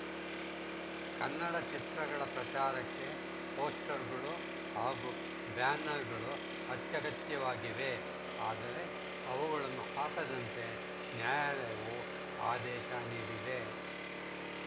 ಕನ್ನಡ ಚಿತ್ರಗಳ ಪ್ರಚಾರಕ್ಕೆ ಪೋಸ್ಟರ್‌ಗಳು ಹಾಗೂ ಬ್ಯಾನರ್‌ಗಳು ಅತ್ಯಗತ್ಯವಾಗಿವೆ ಆದರೆ ಅವುಗಳನ್ನು ಹಾಕದಂತೆ ನ್ಯಾಯಾಲಯವು ಆದೇಶ ನೀಡಿದೆ